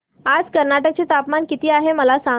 आज कर्नाटक चे तापमान किती आहे मला सांगा